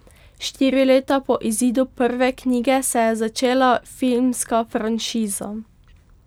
Štiri leta po izidu prve knjige se je začela filmska franšiza.